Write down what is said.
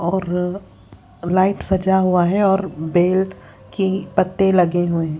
और लाइट सजा हुआ है और बेल की पत्ते लगे हुए हैं।